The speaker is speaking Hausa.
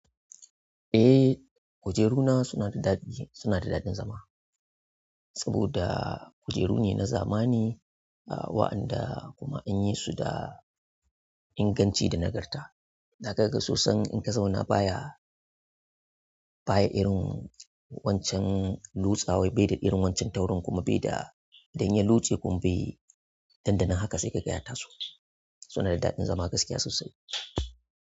Eh, kujeru na suna da ɗadi, suna da daɗin zama saboda kujeru ne na zamani, a waɗanda kuma an yi su da inganci da nagarta. Dakaga sosan in ka zauna baya, baya irin wancan lutsawaye bai da irin wancan taurin kuma bai da, dan ya lotse kuma bai, nan da nan haka sai ka ga ya ta so. Suna da daɗin zama gaskiya sosai.